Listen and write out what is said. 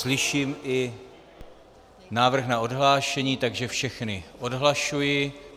Slyším i návrh na odhlášení, takže všechny odhlašuji.